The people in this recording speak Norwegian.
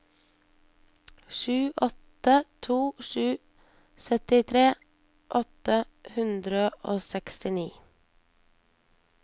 sju åtte to sju syttitre åtte hundre og sekstini